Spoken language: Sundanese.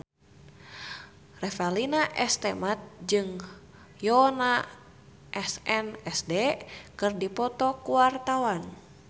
Revalina S. Temat jeung Yoona SNSD keur dipoto ku wartawan